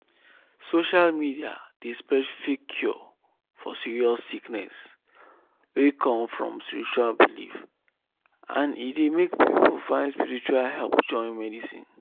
social media dey spread fake cure for serious sickness wey come from spiritual belief and e dey make people find spiritual help join medicine.